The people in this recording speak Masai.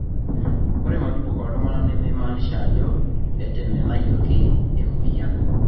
ore majibu ooltung'anak nemeimaanisha ajo etemenayioki emueyian